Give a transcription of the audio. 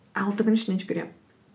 алты күннің ішінде жүгіремін